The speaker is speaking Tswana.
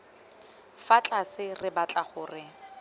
fa tlase re batla gore